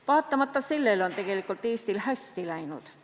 Vaatamata sellele, on Eestil tegelikult hästi läinud.